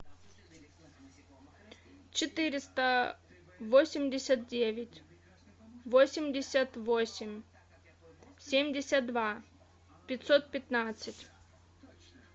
четыреста восемьдесят девять восемьдесят восемь семьдесят два пятьсот пятнадцать